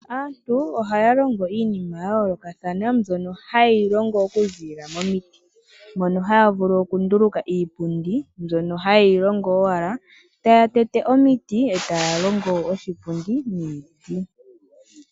Aantu ohaya longo iinima yayoolokathana mbyoka hayi longwa okuzilila momiti, moka haya vulu okunduluka iipundi mbyoka hayi longwa owala taya tete omiti etaya longo oshipundi miipilangi.